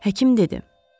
Həkim dedi.